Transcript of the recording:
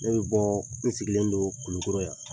n sigilen don kulukoro yan